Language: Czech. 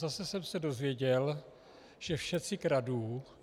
Zase jsem se dozvěděl, že všetci kradnú.